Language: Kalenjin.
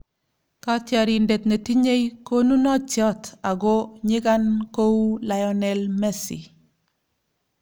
Kotiorindet ne tinyei konunotiot ago nyigan kou Lionel Messi .